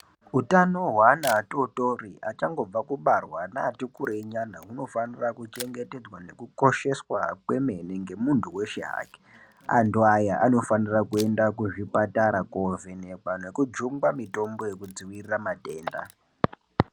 Hutano hweana atotori achangobva kubarwa neati kurei nyana hunofanira kuchengetedzwa nekukosheshwa kwemene nemunthu weshe hake, vanthu aya anofanira kuenda kuzvipatara koovhenekwa nekujungwa mitombo yekudzivirira matenda.